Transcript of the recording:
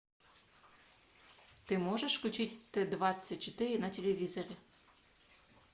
ты можешь включить т двадцать четыре на телевизоре